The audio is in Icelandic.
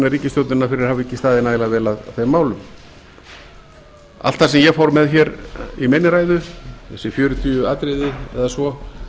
ríkisstjórnina fyrir að hafa ekki staðið nægilega vel að þeim málum allt það sem ég fór með hér í minni ræðu þessi fjörutíu atriði eða svo